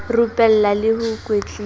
rupella le ho kwetlisa ho